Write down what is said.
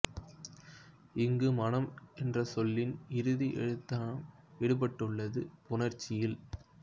இங்கு மனம் என்றசொல்லின் இறுதி எழுத்தான ம் விடுபட்டுள்ளது புணர்ச்சியில்